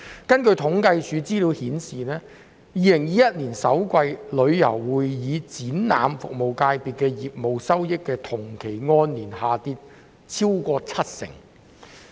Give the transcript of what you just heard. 根據政府統計處的資料顯示，旅遊會議展覽服務界別於2021年首季的業務收益，按年下跌超過七成。